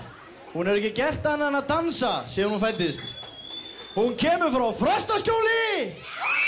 hún hefur ekki gert annað en að dansa síðan hún fæddist hún kemur frá Frostaskjóli